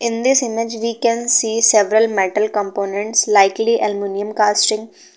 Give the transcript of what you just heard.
In this image we can see several metal components likely aluminium casting.